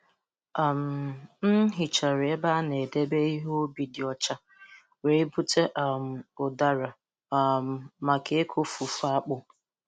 M um hichara ebe a na-edebe ihe ubi dị ọcha, wee bute um ụdara um maka ịkụ fufu akpụ.